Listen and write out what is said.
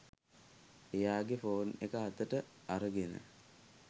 එයාගේ ෆෝන් එක අතට අරගෙන